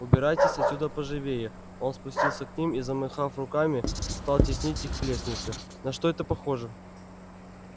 убирайтесь отсюда поживее он спустился к ним и замахав руками стал теснить их к лестнице на что это похоже